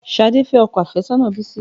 Ṣhadé fẹ́ ọkọ àfẹ́sọ́nà Bisi